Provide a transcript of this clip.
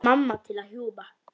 Mamma til að hjúfra.